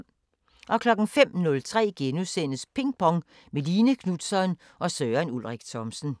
05:03: Ping Pong – med Line Knutzon og Søren Ulrik Thomsen *